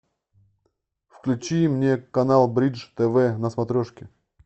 включи мне канал бридж тв на смотрешке